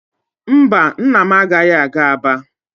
Mba, nna m agaghị aga Aba.